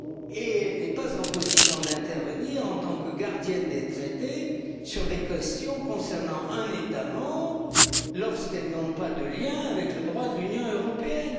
Et elle n'est pas en position d'intervenir en tant que gardienne des Traités sur des questions concernant un État membre lorsqu'elles n'ont pas de lien avec le droit de l'Union européenne.